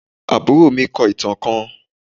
Àbúrò mi kọ ìtàn kán